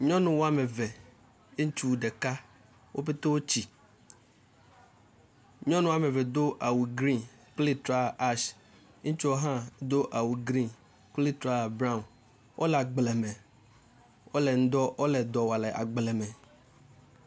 Nyɔnu woameve, ŋutsu ɖeka wo pɛtɛ wotsi. Nyɔnu woameve do awu gbemumu kple trɔzã dzomafi. Ŋutsu hã do awu gbemumu kple trɔzã brown. Wole agble me. Wole nu dɔ wɔm le agble me.